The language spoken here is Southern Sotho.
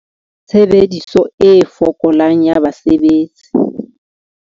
Tshebediso e fokolang ya basebetsi.